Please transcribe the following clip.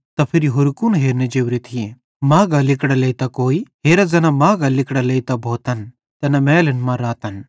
त फिरी होरू कुन हेरने जोरे थिये माघां लिगड़ां लेइतां कोई हेरा ज़ैन माघां लिगड़ां लेइतां भोतन तैना महलन मां रातन